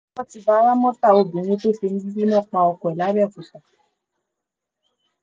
ti bá ramọta obìnrin tó fi omi gbígbóná pa ọkọ ẹ̀ làbẹ́ọ̀kúta